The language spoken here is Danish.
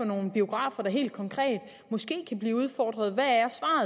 nogle biografer der helt konkret måske kan blive udfordret hvad